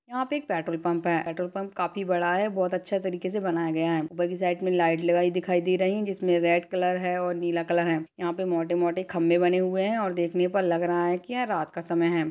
यहाँ पे एक पेट्रोल पंप है पेट्रोल पंप काफी बड़ा है बहोत अच्छा तरीके से बनाया गया है ऊपर की साइड में लाइट लगाई दिखाई दे रही है जिसमें रेड कलर है और नीला कलर है यहाँ पर मोटे-मोटे खंबे बने हुए हैं देखने पर लग रहा है कि यह रात का समय है।